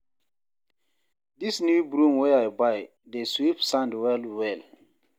Dis new broom wey I buy dey sweep sand well-well.